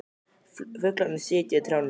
Fuglarnir sitja í trjánum.